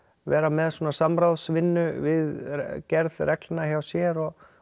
vera með svona samráðsvinnu við gerð reglna hjá sér og